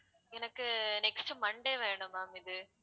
எனக்கு next Monday வேணும் ma'am இது